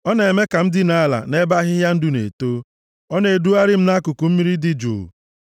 Ọ na-eme ka m dinaa ala nʼebe ahịhịa ndụ na-eto, ọ na-edugharị m nʼakụkụ mmiri dị jụụ,